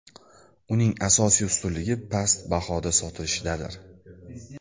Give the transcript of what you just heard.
Uning asosiy ustunligi past bahoda sotilishidadir.